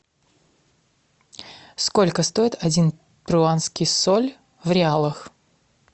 сколько стоит один перуанский соль в реалах